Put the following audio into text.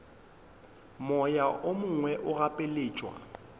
moya o mongwe o gapeletšwa